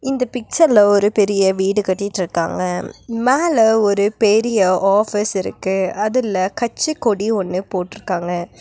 இந்த பிக்சர்ல ஒரு பெரிய வீடு கட்டிட்ருக்காங்க. மேல ஒரு பெரிய ஆபீஸ் இருக்கு. அதுல கட்சிக்கொடி ஒன்னு போட்ருக்காங்க.